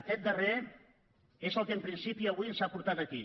aquest darrer és el que en principi avui ens ha portat aquí